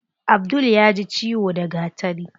Abdul yaji ciwo da gatari.